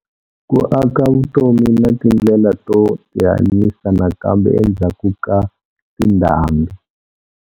Ku aka vutomi na tindlela to tihanyisa nakambe endzhaku ka tindhambi.